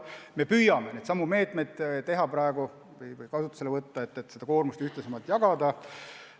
Me püüame vajalikke meetmeid juba praegu kasutusele võtta, et koormust ühtlasemalt jagada.